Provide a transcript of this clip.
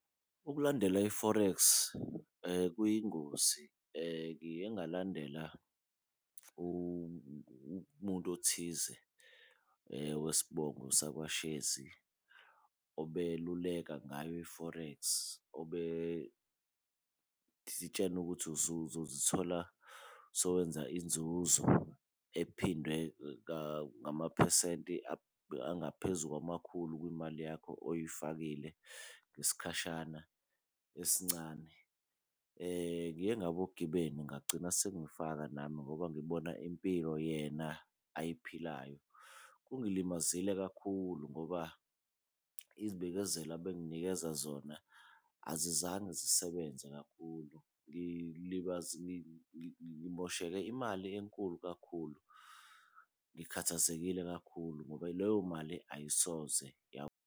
Ukulandela i-forex kuyingozi ngike ngalandela umuntu othize wesibongo sakwaShezi obeluleka ngayo i-forex, obesitshena ukuthi uzozithola sewenza inzuzo ephindwe ngamaphesenti angaphezu kwamakhulu kumali yakho oyifakile ngesikhashana esincane. Ngiye ngawa ogibeni ngagcina sengifaka nami ngoba ngibona impilo yena ayiphilayo. Kungilimazile kakhulu ngoba izibekezelo abenginikeza zona azizange zisebenze kakhulu. Ngimosheke imali enkulu kakhulu, ngikhathazekile kakhulu ngoba leyo mali ayisoze .